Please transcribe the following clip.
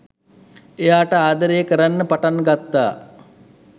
එයාට ආදරය කරන්න පටන් ගත්තා